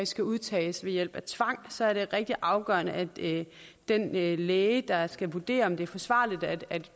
skal udtages ved hjælp af tvang så er det rigtig afgørende at den læge læge der skal vurdere om det er forsvarligt at